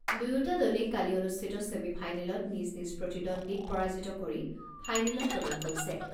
দুয়োটা দলেই কালি অনুষ্ঠিত ছেমি ফাইনেলত নিজ নিজ প্ৰতিদ্বন্দ্বীক পৰাজিত কৰি ফাইনেলত প্ৰৱেশ কৰিছে।